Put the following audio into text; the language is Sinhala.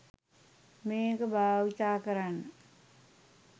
මේක බාවිතා කරන්න